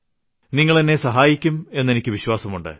നിങ്ങൾ എന്നെ സഹായിക്കും എന്ന് എനിക്ക് വിശ്വാസം ഉണ്ട്